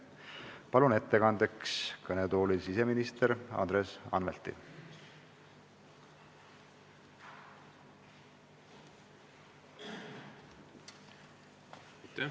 Palun ettekandeks kõnetooli siseminister Andres Anvelti!